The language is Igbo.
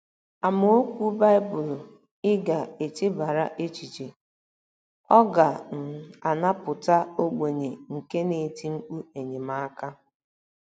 AMAOKWU BAỊBỤL Ị GA - ECHEBARA ECHICHE: “ Ọ ga um - anapụta ogbenye nke na - eti mkpu enyemaka...